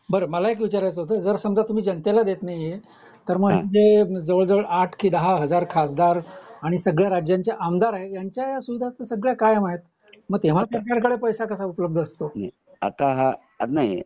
बरं मला असा विचारायच होता समजा तुम्ही जनतेला देत नाहीये तर मग तर मग जे आठ दहा हजार खासदार आणि सगळ्या राज्यांच्या आमदार आहेत ह्यांच्या ह्या सुविधा सगळ्या कायम आहेत मग तेव्हा आपल्याकडे पैसा कसं उपलब्ध असतो